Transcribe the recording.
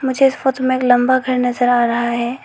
मुझे इस फोटो में एक लंबा घर नजर आ रहा है।